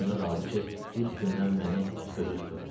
Boyuna daldı ki, ilk gündən məni gözü tutubmuş.